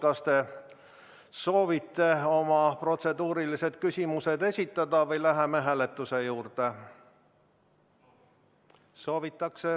Kas te soovite oma protseduurilised küsimused esitada või läheme hääletuse juurde?